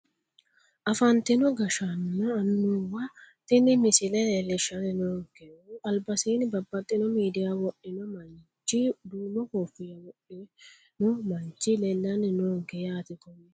Afantino gashshaanonna annuwa tini misile leellishsanni noonkehu albasiinni babbaxxino miidiya wodhino manchi duumo koofinya wodhino manchi leellanni noonke yaate kowiicho